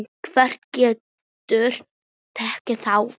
Hver getur tekið þátt?